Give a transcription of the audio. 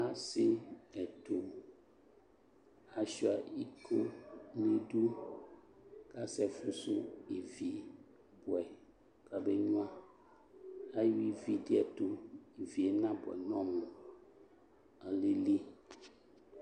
Ase ɛto asua ikoo nidu kasɛ fusu ivi buɛ ka be nyuaAha ivi de ɛto, ivie na buɛ nɔmu, alili